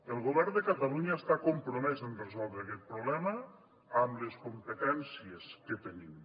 el govern de catalunya està compromès a resoldre aquest problema amb les competències que tenim